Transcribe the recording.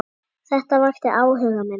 Þetta vakti áhuga minn.